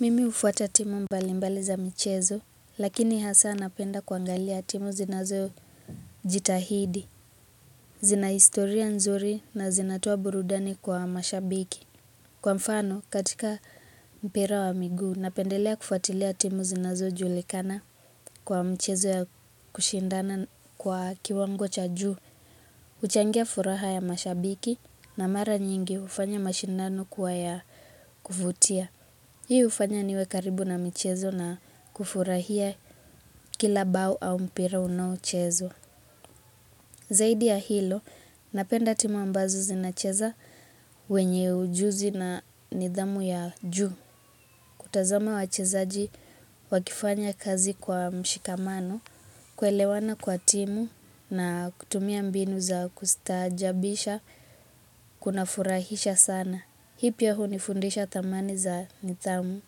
Mimi hufuata timu mbalimbali za michezo, lakini hasa napenda kuangalia timu zinazojitahidi. Zina historia nzuri na zinatoa burudani kwa mashabiki. Kwa mfano, katika mpira wa miguu, napendelea kufuatilia timu zinazojulikana kwa mchezo ya kushindana kwa kiwango cha juu. Huchangia furaha ya mashabiki na mara nyingi hufanya mashindano kuwa ya kuvutia. Hii hufanya niwe karibu na michezo na kufurahia kila bao au mpira unaochezwa. Zaidi ya hilo, napenda timu ambazo zinacheza wenye ujuzi na nidhamu ya juu. Kutazama wachezaji wakifanya kazi kwa mshikamano, kuelewana kwa timu na kutumia mbinu za kustaajabisha, kunafurahisha sana. Hii pia hunifundisha thamani za nidhamu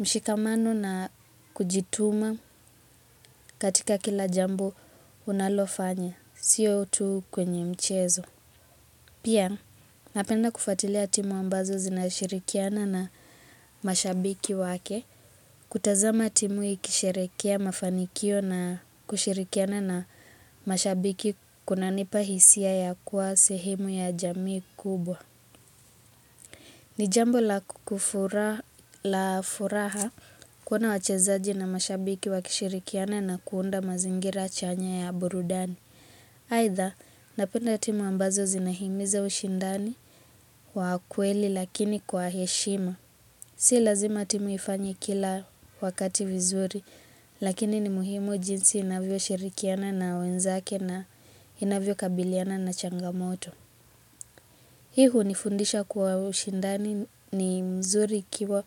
mshikamano na kujituma katika kila jambo unalofanya, sio tu kwenye mchezo. Pia napenda kufuatilia timu ambazo zinashirikiana na mashabiki wake, kutazama timu ikisherekea mafanikio na kushirikiana na mashabiki kunanipa hisia ya kuwa sehemu ya jamii kubwa. Ni jambo la furaha kuona wachezaji na mashabiki wakishirikiana na kuunda mazingira chanya ya burudani. Aidha, napenda timu ambazo zinahimiza ushindani wa kweli lakini kwa heshima. Si lazima timu ifanye kila wakati vizuri, lakini ni muhimu jinsi inavyoshirikiana na wenzake na inavyokabiliana na changamoto. Hii hunifundisha kuwa ushindani ni mzuri ikiwa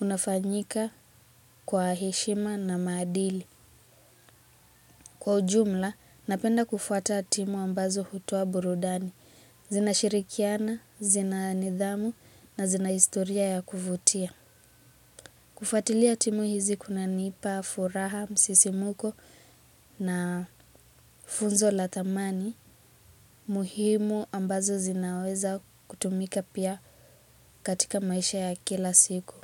unafanyika kwa heshima na maadili. Kwa ujumla, napenda kufuata timu ambazo hutoa burudani. Zinashirikiana, zina nidhamu na zina historia ya kuvutia. Kufuatilia timu hizi kunanipa, furaha, msisimko na funzo la thamani, muhimu ambazo zinaweza kutumika pia katika maisha ya kila siku.